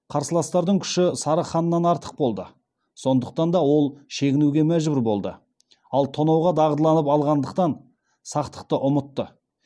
қарсыластардың күші сары ханнан артық болды сондықтан да ол шегінуге мәжбүр болды ал тонауға дағдыланып алғандықтан сақтықты ұмытты